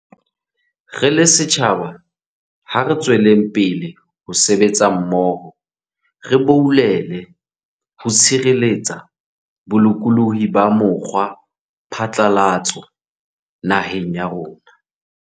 Re le setjhaba, ha re tsweleng pele ho sebetsa mmoho re boulele ho tshireletsa bolokolohi ba mokgwapha tlalatso naheng ya rona.